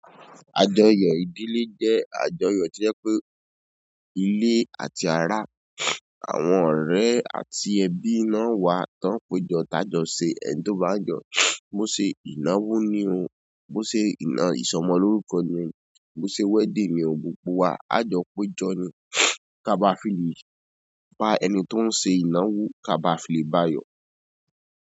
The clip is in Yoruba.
Àjọyọ̀ ìdílé jẹ́ àjọyọ̀ to jẹ́ pé ilé àti ara, àwọn ọ̀rẹ́ àti ẹbi náà wà tán pe jọ́ ta jọ́ ṣe ẹni tó bá jọ̀. Bó ṣe ìnáwó ni o, bó ṣe ìná ìsọmọlórúkọ ni o, bó ṣe wedding ni o, gbogbo wa, àjọ pe jọ ni. Kaba fi lè bá ẹni tó ń ṣe ìnáwó, kaba fi lè bá a yọ̀.